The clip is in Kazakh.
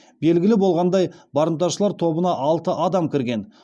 белгілі болғандай барымташылар тобына алты адам кірген